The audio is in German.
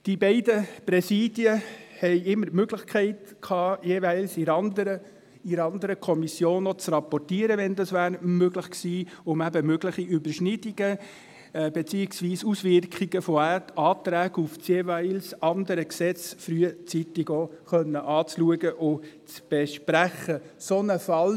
Die beiden Präsidien hatten auch immer die Möglichkeit, der jeweils anderen Kommission zu rapportieren, um eben mögliche Überschneidungen, beziehungsweise Auswirkungen von Anträgen auf das jeweils andere Gesetz, auch frühzeitig anschauen und besprechen zu können.